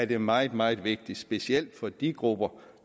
det meget meget vigtigt specielt for de grupper